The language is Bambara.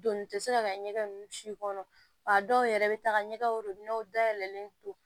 Doni tɛ se ka kɛ ɲɛgɛn ninnu si kɔnɔ wa dɔw yɛrɛ bɛ taaga ɲɛgɛnw da yɛlɛlen to